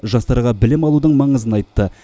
жастарға білім алудың маңызын айтты